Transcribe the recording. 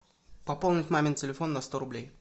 пополнить мамин телефон на сто рублей